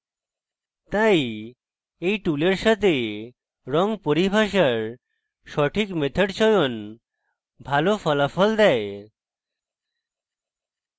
তাই এই টুলের সাথে রঙ পরিভাষার সঠিক method চয়ন ভালো ফলাফল দেয়